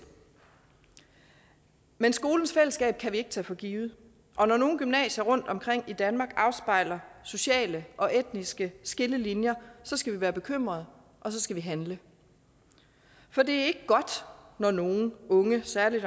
men skolens fællesskab kan vi ikke tage for givet og når nogle gymnasier rundtomkring i danmark afspejler sociale og etniske skillelinjer skal vi være bekymrede og så skal vi handle for det er ikke godt når nogle unge særlig